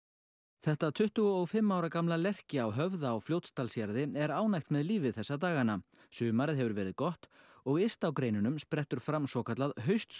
þetta tuttugu og fimm ára gamla lerki á Höfða á Fljótsdalshéraði er ánægt með lífið þessa dagana sumarið hefur verið gott og yst á greinunum sprettur fram svokallað